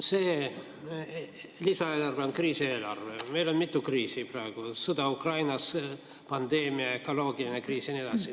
See lisaeelarve on kriisieelarve, meil on mitu kriisi praegu: sõda Ukrainas, pandeemia, ökoloogiline kriis jne.